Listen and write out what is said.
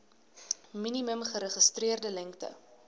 minimum geregistreerde lengte